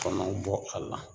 Kɔnɔw bɔ a la